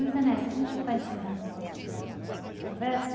Luiz Ernesto, a gente já está encerrando nossa nossa conversa. Certo.